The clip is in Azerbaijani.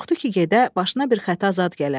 Qorxdu ki, gedə başına bir xəta zad gələ.